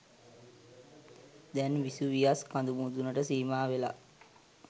දැන් විසුවියස් කඳු මුදුනට සීමා වෙලා.